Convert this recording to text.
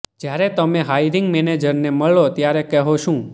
જ્યારે તમે હાયરિંગ મેનેજરને મળો ત્યારે કહો શું